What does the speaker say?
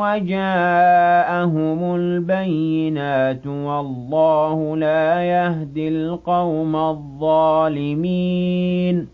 وَجَاءَهُمُ الْبَيِّنَاتُ ۚ وَاللَّهُ لَا يَهْدِي الْقَوْمَ الظَّالِمِينَ